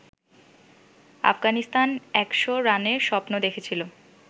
আফগানিস্তান একশ রানের স্বপ্ন দেখছিল